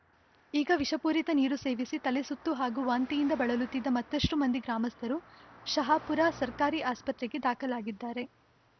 ಈಗ ವಿಷಪೂರಿತ ನೀರು ಸೇವಿಸಿ ತಲೆಸುತ್ತು ಹಾಗೂ ವಾಂತಿಯಿಂದ ಬಳಲುತ್ತಿದ್ದ ಮತ್ತಷ್ಟುಮಂದಿ ಗ್ರಾಮಸ್ಥರು ಶಹಾಪುರ ಸರ್ಕಾರಿ ಆಸ್ಪತ್ರೆಗೆ ದಾಖಲಾಗಿದ್ದಾರೆ